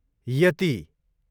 येती